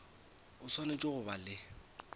o swanetše go ba le